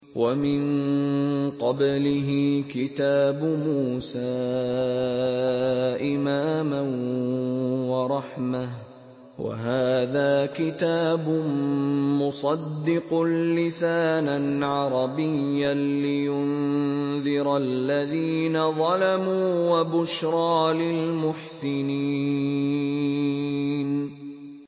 وَمِن قَبْلِهِ كِتَابُ مُوسَىٰ إِمَامًا وَرَحْمَةً ۚ وَهَٰذَا كِتَابٌ مُّصَدِّقٌ لِّسَانًا عَرَبِيًّا لِّيُنذِرَ الَّذِينَ ظَلَمُوا وَبُشْرَىٰ لِلْمُحْسِنِينَ